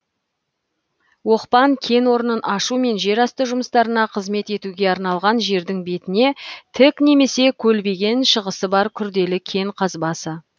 оқпан кен орнын ашу мен жер асты жұмыстарына қызмет етуге арналған жердің бетіне тік немесе көлбеген шығысы бар күрделі кен қазбасы